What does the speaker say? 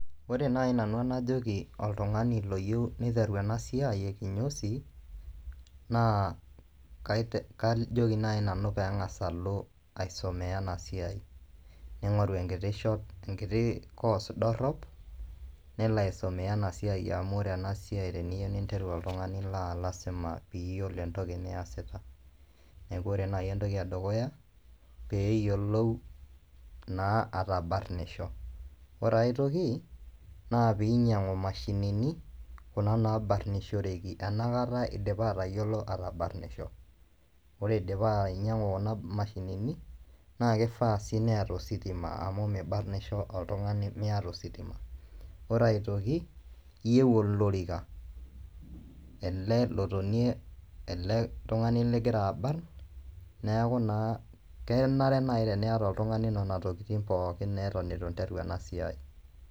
Ore naai nanu enajoki oltungani loyieu niteru ena siai e kinyozi naa kajoki naai nanu pee eng'as alo aisumia ena siai ning'oru enkiti course dorrop nelo aisumia ena siai amu ore ena siai teniyieu ninteru oltung'ani naa lasima piiyiolo entoki niasita neeku ore naai entoki edukuya pee eyiolou naa atabarnisho ore ai toki naa pee inyiang'u imashinini kuna naabarninshoreki enakata idipa atayiolo atabarnisho, ore idipa ainying'u kuna mashinini naa kifaa sii neeta ositima amu mibarnisho oltung'ani miata ositima ore aitoki iyieu olorika ele lotonie ele tung'ani ligira abarrn neeku naa kenare naai teniata oltung'ani nena tokitin naa pookin eton itu iteru ena siai.